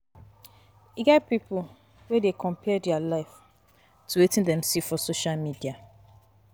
E get pipo wey dey compare dia life to Wetin Dem see for social media.